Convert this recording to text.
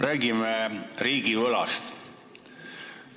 Räägime riigivõlast.